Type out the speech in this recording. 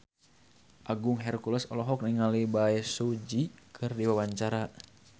Agung Hercules olohok ningali Bae Su Ji keur diwawancara